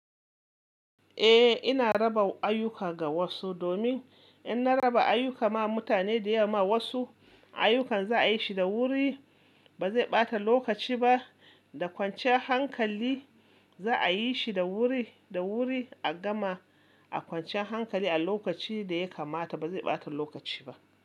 Eh, ina raba ayyuka ga wasu domin in na raba ayuka ma mutane da ya ma wasu, ayyukan za a yi shi da wuri, ba zai ɓata lokaci ba, da kwanciyan hankali za a yi shi da wuri, da wuri a gama, a kwanciyan hankali a lokaci da ya kamata ba zai ɓata lokaci ba.